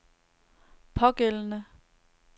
pågældende